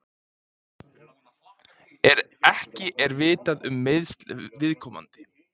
Ekki er vitað um meiðsl viðkomandi